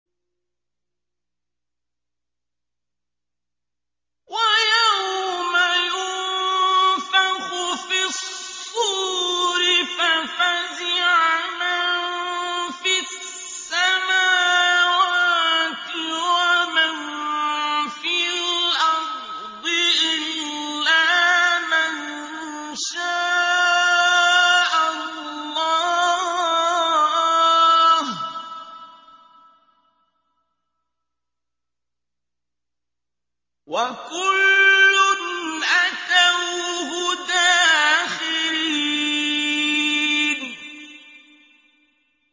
وَيَوْمَ يُنفَخُ فِي الصُّورِ فَفَزِعَ مَن فِي السَّمَاوَاتِ وَمَن فِي الْأَرْضِ إِلَّا مَن شَاءَ اللَّهُ ۚ وَكُلٌّ أَتَوْهُ دَاخِرِينَ